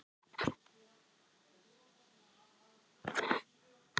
Ef við skemmtum ekki áhorfendum, til hvers erum við að þessu?